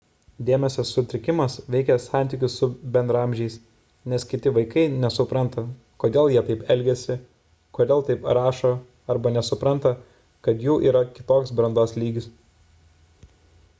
dėmesio sutrikimas veikia santykius su bendraamžiais nes kiti vaikai nesupranta kodėl jie taip elgiasi kodėl taip rašo arba nesupranta kad jų yra kitoks brandos lygis